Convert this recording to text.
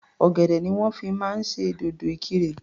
Ọ̀gẹ̀dẹ̀ ni wọ́n fi máa ń ṣe dòdò Ìkirè.